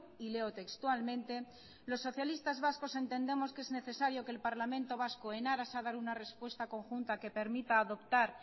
y leo textualmente los socialistas vascos entendemos que es necesario que el parlamento vasco en aras a dar una respuesta conjunta que permita adoptar